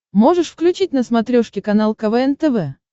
можешь включить на смотрешке канал квн тв